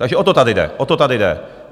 Takže o to tady jde, o to tady jde.